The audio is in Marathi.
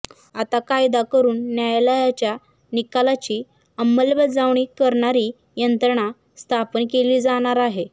आता कायदा करून न्यायालयाच्या निकालाची अंमलबजावणी करणारी यंत्रणा स्थापन केली जाणार आहे